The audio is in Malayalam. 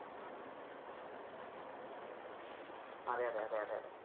അതെ അതെ അതെ അതെ.